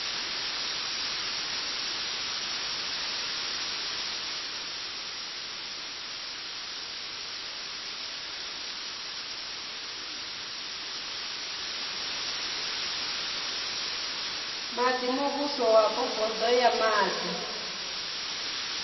maḓi muvhusowapo bodo ya maḓi